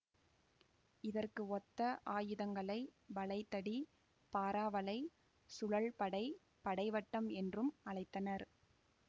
இதற்கு ஒத்த ஆயுதங்களை வளைதடி பாறாவளை சுழல்படை படைவட்டம் என்றும் அழைத்தனர்